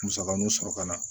Musaka ninnu sɔrɔ ka na